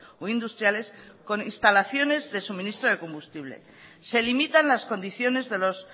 o industriales con instalaciones de suministro de combustible se limitan las condiciones de los